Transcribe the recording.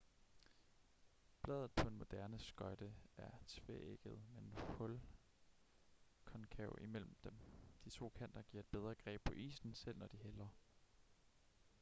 bladet på en moderne skøjte er tveægget med en hul konkav imellem dem de to kanter giver et bedre greb på isen selv når de hælder